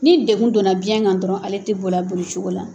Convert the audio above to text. Ni degun donna biyɛnna dɔrɔnw, ale tɛ boli a boli cogo la.